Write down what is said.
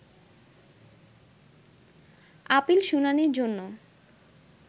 appeal শুনানির জন্য